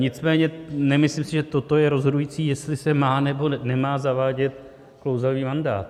Nicméně nemyslím si, že toto je rozhodující, jestli se má, nebo nemá zavádět klouzavý mandát.